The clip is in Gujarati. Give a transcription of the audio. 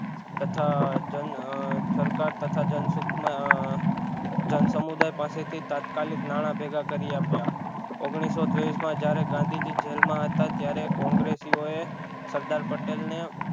તથા જન તથા જન સુખમય જન સમુદાય પાસે થી તાત્કાલિક નાણાં ભેગા કરી આપ્યા ઓગનીશો ત્રેવીશ માં જ્યારે ગાંધીજી જેલ માં હતા ત્યારે કોંગ્રેસી ઓયે સરદાર પટેલ ને